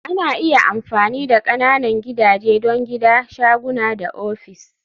Ana iya amfani da ƙananan gidaje don gida, shaguna da ofis